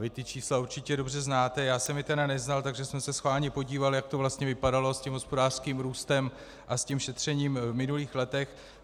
Vy ta čísla určitě dobře znáte, já jsem je tedy neznal, takže jsem se schválně podíval, jak to vlastně vypadalo s tím hospodářským růstem a s tím šetřením v minulých letech.